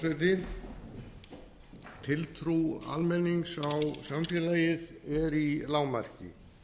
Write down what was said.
frú forseti tiltrú almennings á samfélagið er í lágmarki